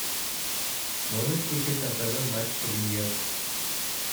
можешь включить на тв матч премьер